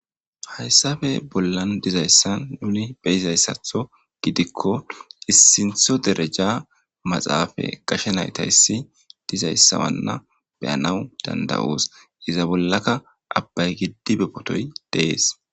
Haysani bollani nuni beyizaysatho gidikon ossintho dereja maxafe gashe naytaysi dizaysa Wana beyanawu danda'osi, iza bollaka abayi gidibe photoyi de'esi.